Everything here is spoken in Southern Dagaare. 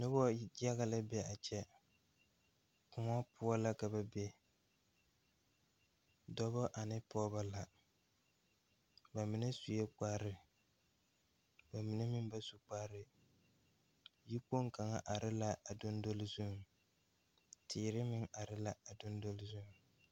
Nobɔ yaga la be a kyɛ kòɔ poɔ la ka ba be dɔbɔ ane pɔɔbɔ la ba mine suee kparre ba mine meŋ ba su kparre tekpoŋ kaŋa are la a dondole zuŋ teere meŋ are la a dondole zuŋ.